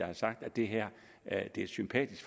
har sagt at det her er et sympatisk